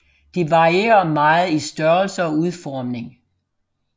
De varierer meget i størrelse og udformning